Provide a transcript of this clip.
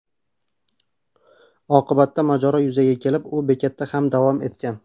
Oqibatda mojaro yuzaga kelib, u bekatda ham davom etgan.